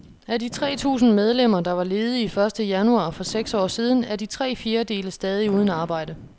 Af de tre tusind medlemmer, der var ledige første januar for seks år siden, er de tre fjerdedele stadig uden arbejde.